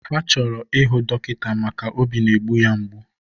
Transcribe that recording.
Ha chọrọ ịhụ dọkịta maka óbí na-egbu ya mgbu.